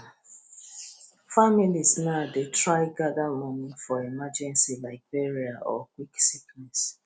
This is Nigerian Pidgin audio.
families now dey try gather money for emergency like burial or quick sickness